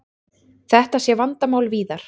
Þetta sé vandamál víðar.